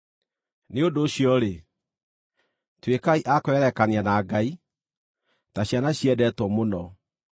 Nĩ ũndũ ũcio-rĩ, tuĩkai a kwĩgerekania na Ngai, ta ciana ciendetwo mũno,